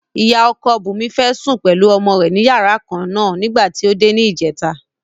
Ìyá ọkọ Bùnmi fẹ́ sùn pẹ̀lú ọmọ rẹ̀ ní yàrá kan náà nígbà tí ó dé ní ìjẹta.